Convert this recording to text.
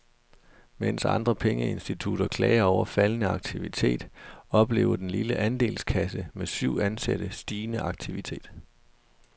Mens andre pengeinstitutter klager over faldende aktivitet, oplever den lille andelskasse med syv ansatte stigende aktivitet.